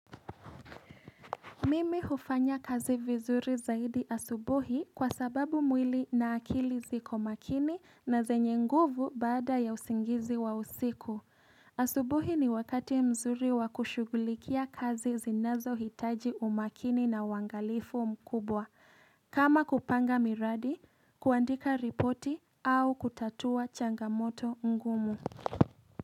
Mimi hufanya kazi vizuri zaidi asubuhi kwa sababu mwili na akili ziko makini na zenye nguvu baada ya usingizi wa usiku. Asubuhi ni wakati mzuri wakushugulikia kazi zinazo hitaji umakini na wangalifu mkubwa. Kama kupanga miradi, kuandika ripoti au kutatua changamoto ngumu.